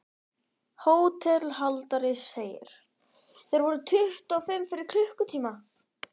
HÓTELHALDARI: Þeir voru tuttugu og fimm fyrir klukkutíma.